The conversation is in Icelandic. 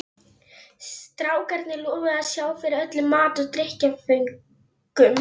Strákarnir lofuðu að sjá fyrir öllum mat og drykkjarföngum.